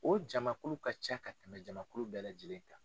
O jamakulu ka ca ka tɛmɛ jamakulu bɛɛ lajɛlen kan.